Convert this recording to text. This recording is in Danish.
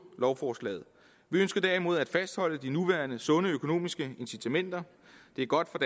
lovforslaget vi ønsker derimod at fastholde de nuværende sunde økonomiske incitamenter det er godt for